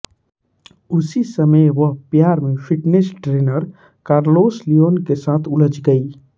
उसी समय वह प्यार में फिटनेस ट्रेनर कार्लोस लियॉन के साथ उलझ गयी